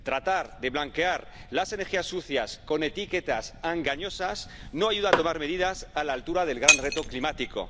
Tratar de blanquear las energías sucias con etiquetas engañosas no ayuda a tomar medidas a la altura del gran reto climático.